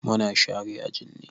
Mu na share aji ne.